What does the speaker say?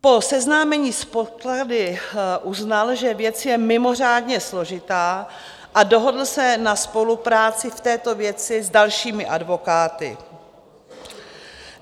Po seznámení s podklady uznal, že věc je mimořádně složitá, a dohodl se na spolupráci v této věci s dalšími advokáty.